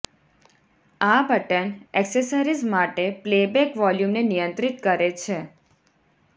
આ button accessories માટે playback વોલ્યુમને નિયંત્રિત કરે છે